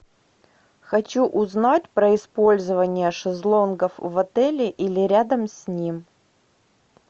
хочу узнать про использование шезлонгов в отеле или рядом с ним